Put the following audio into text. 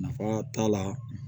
Nafa t'a la